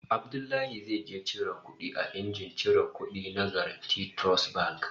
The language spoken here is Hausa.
Abdullahi zai je cire kudi a injin ciran kudi na Guaranty Trust Bank